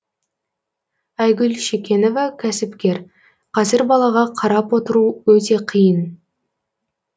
айгүл шекенова кәсіпкер қазір балаға қарап отыру өте қиын